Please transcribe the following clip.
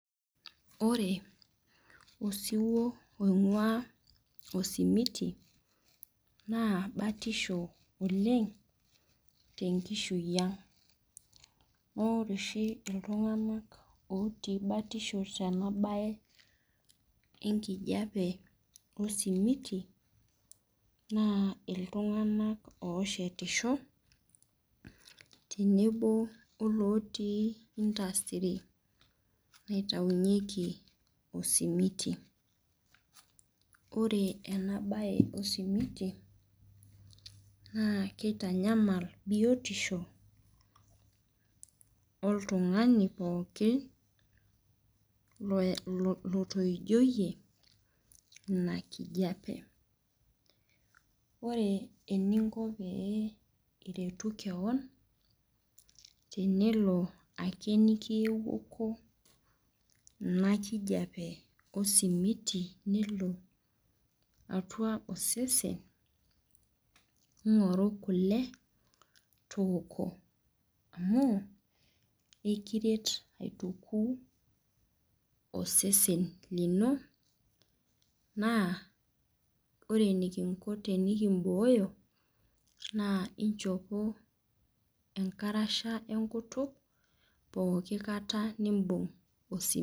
Ore osiwuo oing'ua osimiti, naa batisho oleng tenkishui ang. Amu ore oshi iltung'anak otii batisho tenabae enkijape osimiti, naa iltung'anak oshetisho, tenebo olotii industry naitaunyeki osimiti. Ore enabae osimiti, naa kitanyamal biotisho, oltung'ani pooki lotoijoyie ina kijape. Ore eninko pee iretu keon, tenelo ake nikiuku ina kijape osimiti nelo atua osesen, ing'oru kule, tooko amu, ekiret aituku osesen lino, naa ore enikinko tenikibooyo, naa inchopo enkarasha enkutuk, pooki kata nibung' osimiti.